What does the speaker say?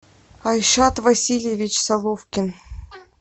айшат васильевич соловкин